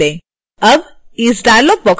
अब इस dialog box को बंद कर दें